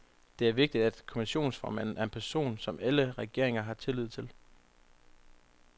Det er vigtigt, at kommissionsformanden er en person, som alle regeringer har tillid til.